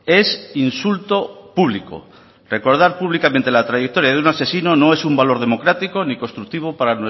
es insulto público recordar públicamente la trayectoria de un asesino no es un valor democrático ni constructivo para